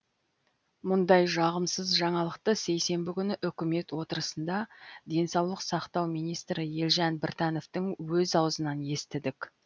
мұндай жағымсыз жаңалықты сейсенбі күні үкімет отырысында денсаулық сақтау министрі елжан біртановтың өз аузынан естідік